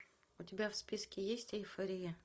у тебя в списке есть эйфория